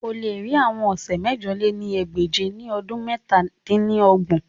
O le ri awọn ọsẹ mẹ̀jọ lé ní ẹgbẹ́je ni ọdun mẹ̀ta dín ní ọgbọ̀n